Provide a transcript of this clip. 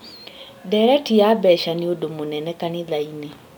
Ndereti ya mbeca nĩ ũndũ mũnene kanitha-inĩ